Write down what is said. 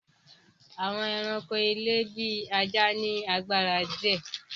Àwọn èràńko ilé bí ajá ní agbára díẹ.